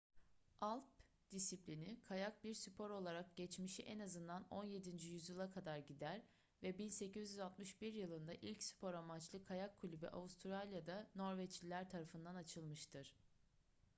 alp disiplini kayak bir spor olarak geçmişi en azından 17. yüzyıla kadar gider ve 1861 yılında ilk spor amaçlı kayak kulübü avustralya'da norveçliler tarafından açılmıştır